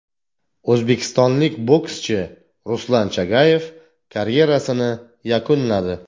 O‘zbekistonlik bokschi Ruslan Chagayev karyerasini yakunladi.